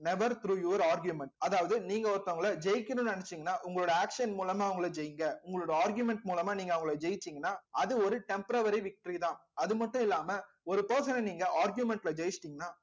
never through your argument அதாவது நீங்க ஒருத்தவங்கள ஜெயிக்கணும்னு நினைச்சீங்கன்னா உங்களோட action மூலமா அவங்களை ஜெயிங்க உங்களோட argument மூலமா நீங்க அவங்களை ஜெயிச்சீங்கன்னா அது ஒரு temporary victory தான் அது மட்டும் இல்லாம ஒரு person அ நீங்க argument ல ஜெயிச்சுட்டீங்கன்னா